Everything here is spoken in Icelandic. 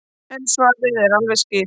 En svarið er alveg skýrt.